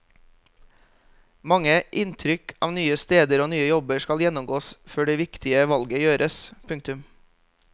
Mange inntrykk av nye steder og nye jobber skal gjennomgås før det viktige valget gjøres. punktum